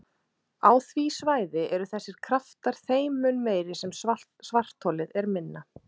Á því svæði eru þessir kraftar þeim mun meiri sem svartholið er minna.